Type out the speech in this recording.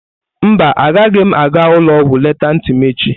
Mba, agaghị m aga ụlọ ọgwụ lelee ntị m echi.